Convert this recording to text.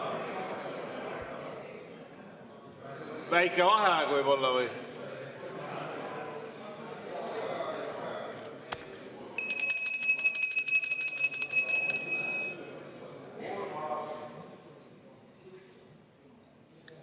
Väike vaheaeg võib-olla?